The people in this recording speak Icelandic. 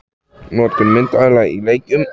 Notkun myndavéla í leikjum?